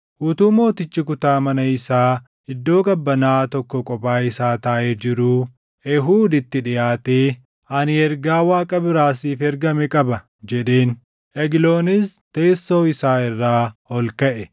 Utuu mootichi kutaa mana isaa iddoo qabbanaaʼaa tokko kophaa isaa taaʼee jiruu Eehuud itti dhiʼaatee, “Ani ergaa Waaqa biraa siif ergame qaba” jedheen. Egloonis teessoo isaa irraa ol kaʼe;